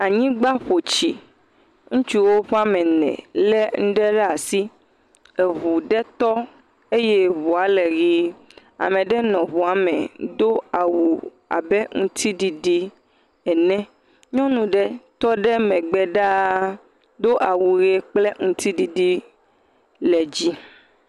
Anyigba ƒo tsi, ŋutsuwo ƒe ame ene le nuɖe ɖe asi. Eŋua tɔ eye ŋua le ʋi, ame aɖe le ŋua me do awu abe aŋutiɖiɖi ene, nyɔnu aɖe le megbe ɖaa do awu ʋi kple ŋutiɖiɖi le dzi.